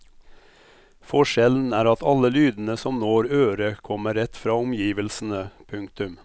Forskjellen er at alle lydene som når øret kommer rett fra omgivelsene. punktum